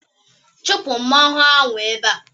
Chụpụ mmanwụ ahụ ebe a!